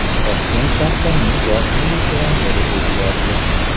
Toshkent shahrining bosh militsioneri o‘zgardi.